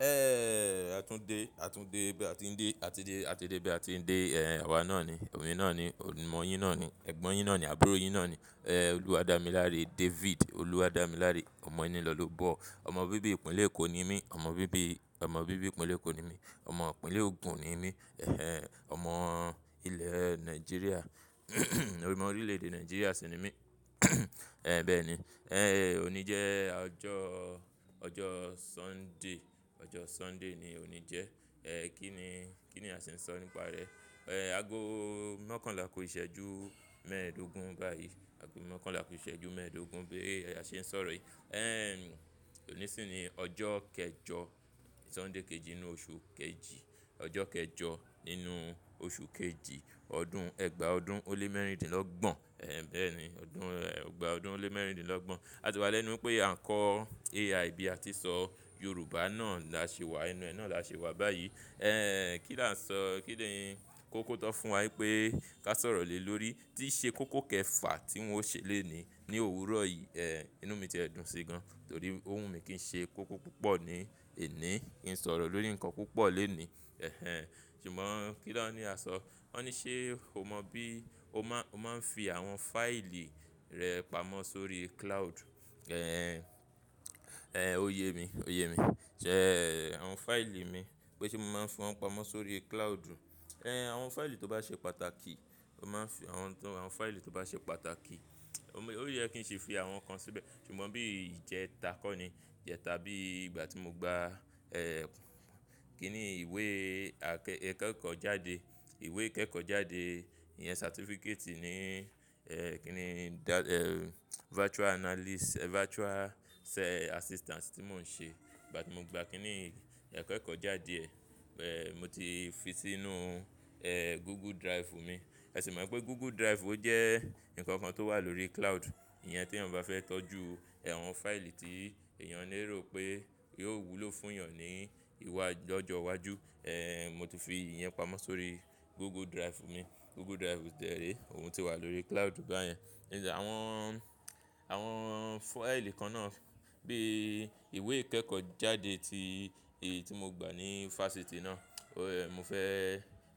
Ẹ̀, a tún dé, a tún dé bí a ti ń dé, a ti dé, a ti dé bí a ti ń dé, ẹ́h ẹ́h, àwa náà ni, èmi náà ni, ọ̀mọ̀ yín náà ni, ẹ̀gbọ́n yín náà ni, àbúrò yín náà ni. Ẹ́h ẹ́h, olúwàdámiláre David, olúwàdámiláre ọmọ ẹni lọ́lọ́bọ̀. Ọmọ bíbí ìpínlẹ̀ Èkó ni mí, ọmọ bíbí, ọmọ bíbí ìpínlẹ̀ Èkó ni mí, ọmọ ìpínlẹ̀ ògùn ni mí. Ẹ̀h ẹ́h, ọmọ ilẹ̀ Nàìjíríà, ọ̀mọ orílẹ̀-èdè Nàìjíríà sì ni mí. Ẹ̀h, bẹ́ẹ̀ ni. Ẹ́h ẹ́h, òní jẹ́ ọjọ́, ọjọ́ Sunday, ọjọ́ Sunday ni òní jẹ́. Ẹ́h ẹ́h, kí ni, kí ni a sì ń sọ nípa rẹ̀? Ẹ́h ẹ́h, ago mọ́kànlá kù iṣẹ́jú mẹ́ẹ̀ẹ́dógún báyìí, ago mọ́kànlá kù iṣẹ́jú mẹ́ẹ̀ẹ́dógún bí a ṣe ń sọ̀rọ̀ yìí. Ẹ́h ẹ́h, òní sì ni ọjọ́ kẹjọ, Sunday kejì nínú oṣù kejì, ọjọ́ kẹjọ nínú oṣù kejì, ọdún ẹgba ọdún o lé mẹ́rìndínlọ́gbọ̀n. Ẹ́h ẹ́h, bẹ́ẹ̀ ni, ọdún ẹgba ọdún o lé mẹ́rìndínlọ́gbọ̀n. A sì wà lẹ́nu pé à ń kọ́ AI bí a ti ń sọ Yorùbá náà la ṣe wà, inú ẹ náà la ṣe wà báyìí. Ẹ́h ẹ́h, kí la ń sọ, kí ni kókọ́ tó fún wa wípé ká sọ̀rọ̀ lé lórí. Tí ṣe kókó kẹfà tí wọ́n ṣe lónìí ní òwúrọ̀ yìí. Ẹ́h ẹ́h, inú mi ti ẹ̀ dùn sí gan, torí òhun mi kí n ṣe kókó púpọ̀ ní ení, kí n sọ̀rọ̀ lórí ǹkan púpọ̀ lẹ́nìí. Ẹ̀h ẹ́h, ṣùgbọ́n kí lòní a sọ? Wọ́n ní ṣé o mọ bí o máa, o máa ń fi àwọn fáìlì rẹ pamọ́ sórí cloud? Ẹ́h ẹ́h, oye mi, oye mi. Ṣé àwọn fáìlì mi, pé ṣé mo máa ń fi wọ́n pamọ́ sórí cloud? Ẹ́h ẹ́h, àwọn fáìlì tó bá ṣe pàtàkì, o máa ń fi àwọn tó, àwọn fáìlì tó bá ṣe pàtàkì, ó yẹ kí n ṣe fi àwọn kan síbẹ̀. Ṣùgbọ́n bí ìjẹta kọ́ ni, ìjẹta bí ìgbà tí mo gba, ẹ́h ẹ́h, kí ni ìwé akẹ, ìkẹ́kọ̀ọ́ jáde, ìwé ìkẹ́kọ̀ọ́ jáde, ìyẹn certificate ní, ẹ́h ẹ́h, kí ni, ẹ́h ẹ́h, virtual analyst, virtual assistant tí mò ń ṣe. Ìgbà tí mo gba kí ni ìkẹ́kọ̀ọ́ jáde ẹ́h ẹ́h, mo ti fi sínú ẹ́h ẹ́h, Google Drive mi. Ẹ sì mọ̀ pé Google Drive ó jẹ́ nǹkan kan tó wà lórí cloud. Ìyẹn tí ẹnì bá fẹ́ tọ́jú àwọn fáìlì tí èèyàn lè rò pé yíò wúlò fún èèyàn ní iwájú, lọ́jọ́ iwájú. Ẹ́h ẹ́h, mo ti fi ìyẹn pamọ́ sórí Google Drive mi. Google Drive dẹ̀ rẹ̀, òun ti wà lórí cloud báyẹn. Ẹ àwọn, àwọn fáìlì kan náà bí ìwé ìkẹ́kọ̀ọ́ jáde ti èyí tí mo gba ní fáṣítì náà. Ẹ́h ẹ́h, mo fẹ́,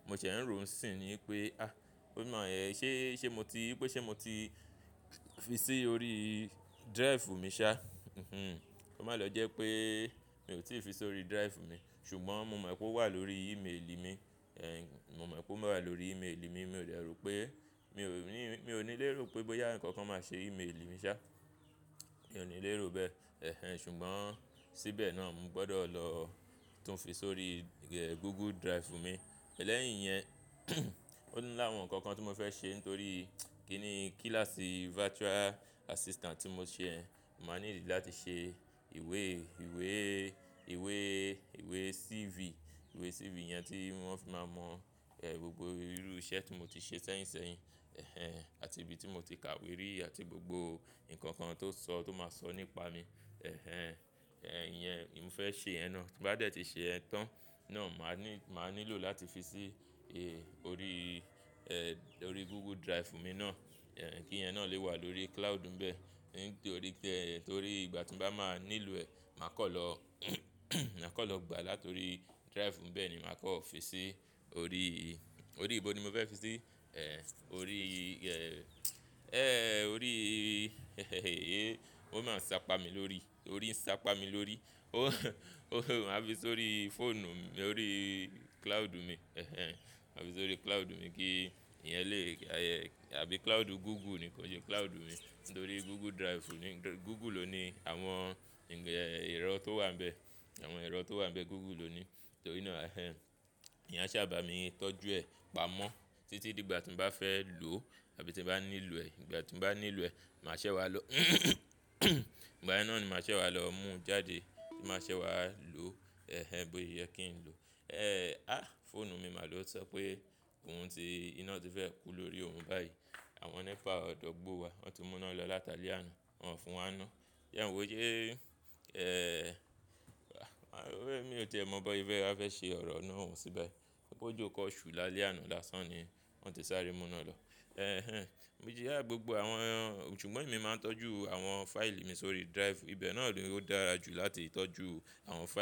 mo ṣẹ̀ ń rò sì ní pé, ah! Ó mọ̀ ẹ́, ṣé, ṣé mo ti, pé ṣé mo ti fi sí orí drive mi sá? Kò má lo jẹ́ pé mi ò tí ì fi sórí drive mi. Ṣùgbọ́n mo mọ̀ pé ó wà lórí email mi. Ẹ́h ẹ́h, mo mọ̀ pé ó wà lórí email mi. Mi ò lè rò pé, mi ò ní, mi ò ní lè rò pé bóyá ǹkan kan máa ṣe email mi sá. Mi ò ní lè rò bẹ́ẹ̀. Ẹ̀h ẹ́h, ṣùgbọ́n síbẹ̀ náà mo gbọdọ̀ lọ tún fi sórí ẹ́h ẹ́h, Google Drive mi. Lẹ́yìn yẹn, ó ńi àwọn ǹkan kan tí mo fẹ́ ṣe nítorí kí ni kíláàsì virtual assistant tí mo ṣe ẹ́, màá need láti ṣe ìwé, ìwé, ìwé, ìwé CV. Ìwé CV yẹn tí wọ́n fi máa mọ ẹ́h ẹ́h, gbogbo irú iṣẹ́ tí mo ti ṣe sẹ́yìnṣẹ́yìn. Ẹ̀h ẹ́h, àti ibi tí mo ti kàwé rí àti gbogbo ǹkan kan tó sọ, tó máa sọ nípa mi. Ẹ̀h ẹ́h, ìyẹn, mo fẹ́ ṣe ìyẹn náà. Bí bá dé tí ṣe ìyẹn tán náà, màá ní, màá nílò láti fi sí ẹ̀h, orí ẹ́h ẹ́h, orí Google Drive mi náà. Ẹ̀h ẹ́h, kí ìyẹn náà lè wà lórí cloud ńbẹ. Nítorí pé, torí ìgbà tí n bá máa nílò ẹ̀, màá kọ̀ lọ, màá kọ̀ lọ gba láti orí drive ńbẹ ni màá kọ́ fi sí orí, orí ibo ni mo fẹ́ fi sí? Ẹ̀h ẹ́h, orí ẹ́h ẹ́h, ẹ́h ẹ́h, orí ẹ́h ẹ́h, ó máa ń sápa mi lórí, orí ń sápa mi lórí. Ó, ó- má fi sórí fóònù mi orí cloud mi. Ẹ̀h ẹ́h, máa fi sórí cloud mi kí ìyẹn lè, àbí cloud Google ni kó ṣe, cloud mi. Nítorí Google Drive ni, Google ló ni àwọn ǹjẹ́ ẹ́h ẹ́h, ẹ̀rọ tó wà ńbẹ. Àwọn ẹ̀rọ tó wà ńbẹ Google ló ni. Torí náà ẹ̀h ẹ́h, ìyẹn sá bà mí tọ́jú ẹ̀, pamọ́ títí di ìgbà tí mo bá fẹ́ lò àbí tí mo bá nílò ẹ̀. Ìgbà tí mbá nílò ẹ̀, màá ṣẹ́ wá lọ. Ìgbà yẹn náà ni màá ṣẹ́ wá lọ mú jáde, tí màá ṣẹ́ wá lò. Ẹ̀h ẹ́h, bó ṣe yẹ kí n lò. Ẹ́h ẹ́h, ah! Fóònù mi máa lọ sọ pé òhun tí, iná ti fẹ́ kú lórí òhun báyìí. Àwọn nepa àdúgbò wa, wọ́n ti mú iná lọ látalẹ́ àná, wọ́n fún wa 'ná. Ìyẹn wo yé ẹ́h ẹ́h, wà á, èmi ò tìí mọ bó ṣe bá fẹ́ ṣe ọ̀rọ̀ iná òun síbẹ̀. Pé ojó kan ṣù lálẹ́ àná lásán ni ó wọ́n ti sáré mú iná lọ. Ẹ̀h ẹ́h, mo ti rí, ah! Gbogbo àwọn, ṣùgbọ́n èmi máa ń tọ́jú àwọn fáìlì mi sórí drive. Ibẹ̀ náà ló dára jù láti tọ́jú àwọn fáìlì.